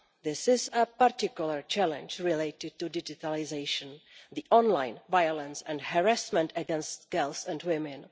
This is a particular challenge related to digitalisation online violence and harassment against girls and women.